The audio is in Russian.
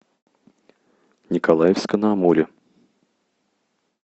николаевска на амуре